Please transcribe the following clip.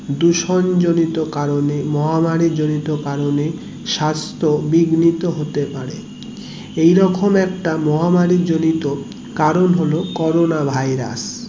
ধুসন জরিত কারণে মহামারী জড়িত কারণে সাস্থ বিগ্নিত হতে পারে এই রকম একটা মহামারী জড়িত কারণ হলো করোনা ভাইরাস